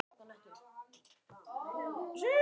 Kristín Eva kippti sér ekki upp við þessa yfirlýsingu.